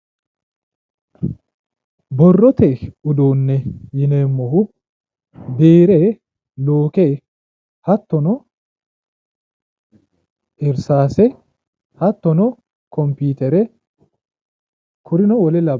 borrote uduunne yineemmohu biire luuke hattono irsaase hattono kompiitere kurino wole labbannoreeti.